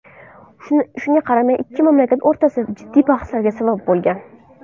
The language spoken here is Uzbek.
Shunga qaramay ikki mamlakat o‘rtasida jiddiy bahslarga sabab bo‘lgan.